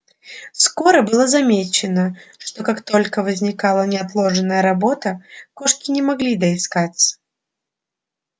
скоро было замечено что как только возникала неотложная работа кошки не могли доискаться